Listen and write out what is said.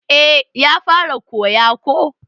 Eh ya fara koya ko